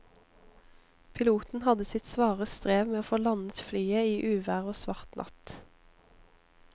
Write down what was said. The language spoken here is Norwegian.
Piloten hadde sitt svare strev med å få landet flyet i uvær og svart natt.